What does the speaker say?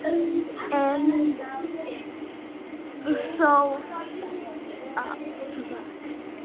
En þó það.